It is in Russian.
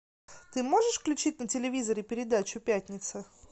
ты можешь включить на телевизоре передачу пятница